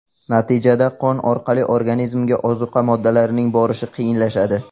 Natijada qon orqali organizmga ozuqa moddalarining borishi qiyinlashadi.